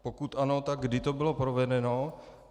Pokud ano, tak kdy to bylo provedeno.